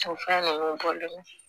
fɛn ninnu bɔlen kun